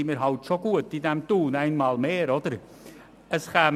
Wir machen es wieder einmal gut in Thun.